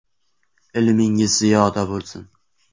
Ilmingiz yanada ziyoda bo‘lsin!